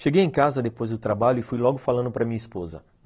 Cheguei em casa depois do trabalho e fui logo falando para minha esposa.